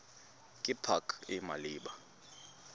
ke pac e e maleba